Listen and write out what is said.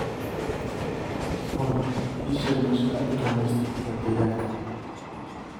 olly ii sheeg meesha laga dukaameysto ee deegaanka